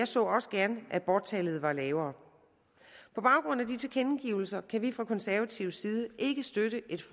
så også gerne at aborttallet var lavere på baggrund af disse tilkendegivelser kan vi fra konservativ side ikke støtte et